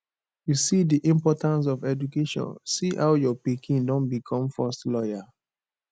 you see the importance of education see how your pikin don become first lawyer